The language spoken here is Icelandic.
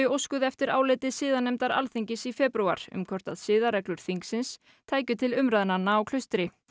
óskuðu eftir áliti siðanefndar Alþingis í febrúar um hvort siðareglur þingsins tækju til umræðnanna á Klaustri